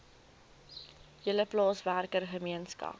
hele plaaswerker gemeenskap